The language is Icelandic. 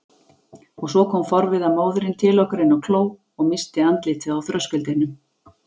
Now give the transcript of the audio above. Og svo kom forviða móðirin til okkar inn á kló og missti andlitið á þröskuldinum.